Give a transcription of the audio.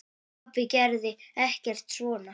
Pabbi gerði ekkert svona.